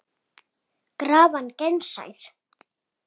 Krafan gegnsæ er.